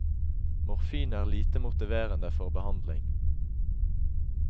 Morfin er lite motiverende for behandling.